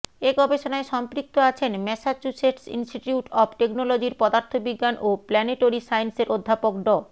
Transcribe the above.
এ গবেষণায় সম্পৃক্ত আছেন ম্যাসাচুসেটস ইন্সটিটিউট অব টেকনোলজির পদার্থবিজ্ঞান ও প্ল্যানেটরি সাইন্সের অধ্যাপক ড